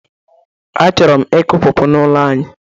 Achọrọ m ịkụ pawpaw n'ụlọ anyị